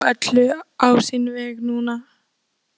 Hann skal ekki snúa öllu á sinn veg núna.